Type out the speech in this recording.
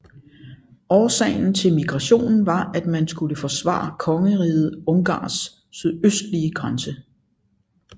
Årsagen til migrationen var at man skulle forsvare Kongeriget Ungarns sydøstlige grænse